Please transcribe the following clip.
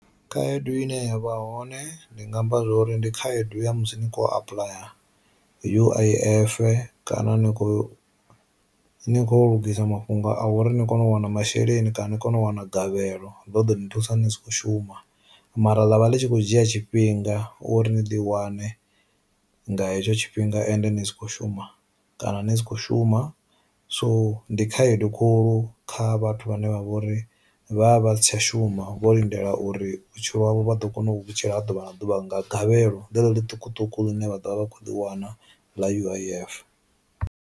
Khaedu ine yavha hone ndi nga amba zwori ndi khaedu ya musi ni kho apuḽaya U_I_F kana ni kho ni kho lungisa mafhungo a uri ni kone u wana masheleni kana ni kone u wanagavhelo ḽo ḓo ni thusa ni si kho shuma, mara ḽavha ḽi tshi khou dzhia tshifhinga uri ni ḽi wane nga hetsho tshifhinga ende ni si kho shuma kana ni si kho shuma. So ndi khaedu khulu kha vhathu vhane vha vha uri vha vha si tsha shuma vho lindela uri vhutshilo ha vho vha ḓo kona u vhutshilo ha ḓuvha na ḓuvha nga gavhelo ḽeḽo ḽi ṱukuṱuku ḽine vha ḓovha vha kho ḽi wana ḽa uif.